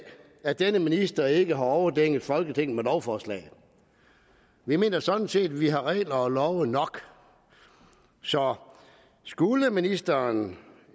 at denne minister ikke har overdænget folketinget med lovforslag vi mener sådan set at vi har regler og love nok så skulle ministeren